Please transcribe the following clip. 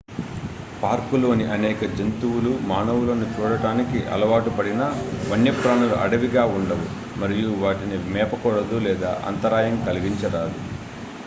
పార్కులోని అనేక జంతువులు మానవులను చూడటానికి అలవాటు పడినా వన్యప్రాణులు అడవిగా ఉండవు మరియు వాటిని మేపకూడదు లేదా అంతరాయం కలిగించరాదు